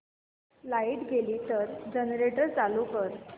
light गेली तर generator चालू कर